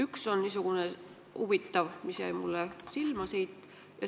Üks neist on niisugune huvitav, mis jäi mulle siit silma.